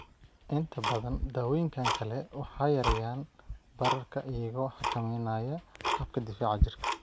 Inta badan daawooyinkan kale waxay yareeyaan bararka iyagoo xakameynaya habka difaaca jirka.